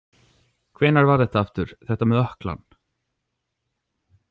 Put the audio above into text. Hvenær var það aftur, þetta með ökklann?